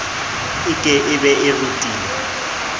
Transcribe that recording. e ke be e rutile